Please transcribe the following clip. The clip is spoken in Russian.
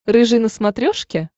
рыжий на смотрешке